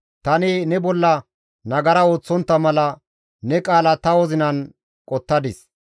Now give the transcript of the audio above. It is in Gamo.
Tani ne bolla nagara ooththontta mala ne qaala ta wozinan qottadis.